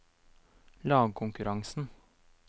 lagkonkurransen